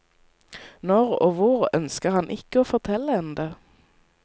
Når og hvor ønsker han ikke å fortelle enda.